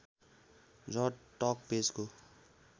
र टक पेजको